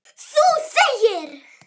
Þú þegir.